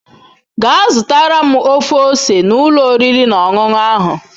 Gaa zụtara m ofe ose n'ụlọ oriri na ọṅụṅụ ahụ